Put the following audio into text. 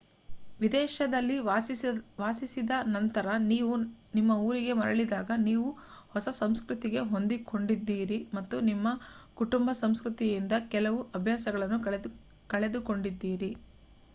ವಿದೇಶದಲ್ಲಿ ವಾಸಿಸಿದ ನಂತರ ನೀವು ನಿಮ್ಮಊರಿಗೆ ಮರಳಿದಾಗ ನೀವು ಹೊಸ ಸಂಸ್ಕೃತಿಗೆ ಹೊಂದಿಕೊಂಡಿದ್ದೀರಿ ಮತ್ತು ನಿಮ್ಮ ಕುಟುಂಬ ಸಂಸ್ಕೃತಿಯಿಂದ ಕೆಲವು ಅಭ್ಯಾಸಗಳನ್ನು ಕಳೆದುಕೊಂಡಿದ್ದೀರಿ